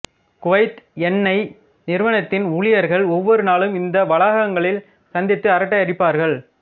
Kuwait எண்ணை நிறுவனத்தின் ஊழியர்கள் ஒவ்வொரு நாளும் இந்த வளாகங்களில் சந்தித்து அரட்டை அடிப்பார்கள்